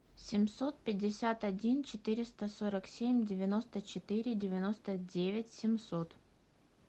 семьсот пятьдесят один четыреста сорок семь девяносто четыре девяносто девять семьсот